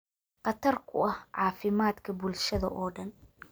khatar ku ah caafimaadka bulshada oo dhan.